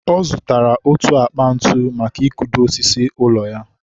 ọ zụtara otu akpa ntu maka i kudo ósísí ụlọ ya.